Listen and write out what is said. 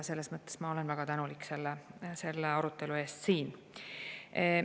Selles mõttes ma olen väga tänulik selle arutelu eest siin.